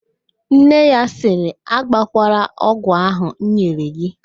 Nne ya sịrị, agbọkwala ogwụ ahụ m nyere g!